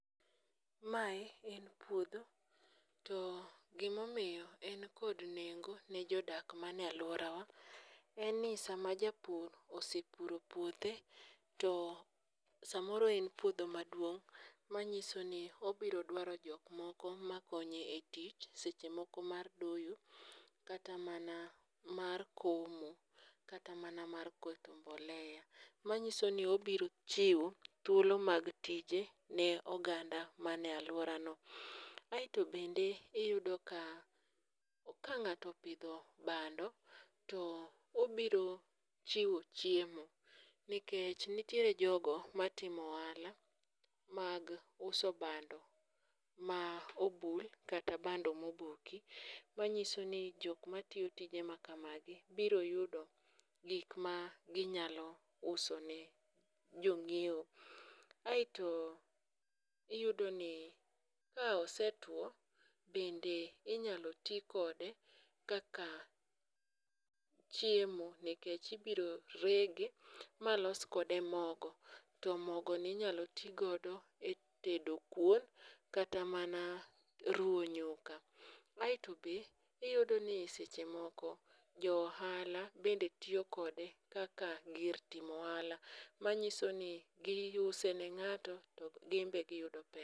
Mae en puodho to gimomiyo en kod nengo ne jodak mane alworawa en ni sama japur osepuro puothe to samoro en puodho maduong' ,manyiso ni obiro dwaro jok moko makonye e tich seche moko mar doyo kata mana mar komo, kata mana mar keto mbolea manyiso ni obiro chiwo thuolo mag tije ne oganda mane alworano. Aeto bende iyudo ka ka ng'ato opidho bando, to obiro chiwo chiemo nikech nitiere jogo matimo ohala mag uso bando, ma obul kata bando moboki. Manyiso ni jok matiyo tije ma kamagi biro yudo gik ma ginyalo usone jong'iewo. Aeto iyudoni ka osetuwo, bende inyalo ti kode kaka chiemo nikech ibiro rege ma los kode moge, to mogoni inyalo ti godo e tedo kuon kata mana ruwo nyuka, Aeto be iyudoni seche moko joohala bende tiyo kode kaka gir timo ohala manyiso ni giuse ne ng'ato to gin be giyudo pesa.